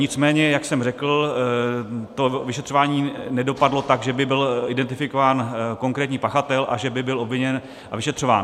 Nicméně jak jsem řekl, to vyšetřování nedopadlo tak, že by byl identifikován konkrétní pachatel a že by byl obviněn a vyšetřován.